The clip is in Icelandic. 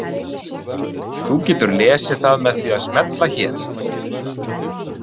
Þú getur lesið það með því að smella hér.